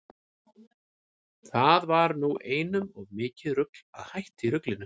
Það var nú einum of mikið rugl að hætta í ruglinu.